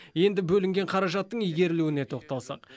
енді бөлінген қаражаттың игерілуіне тоқталсақ